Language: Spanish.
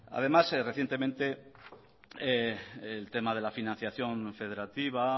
además recientemente el tema de la financiación federativa